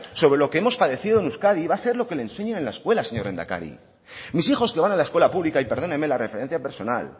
sobre lo que hemos padecido en euskadi va a ser lo que le enseñen en la escuela señor lehendakari mis hijos que van a la escuela pública y perdóneme la referencia personal